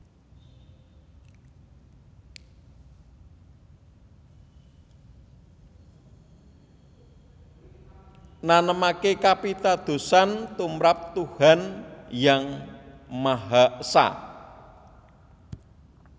Nanemaké kapitadosan tumrap Tuhan Yang Maha Esa